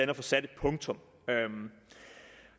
at få sat et punktum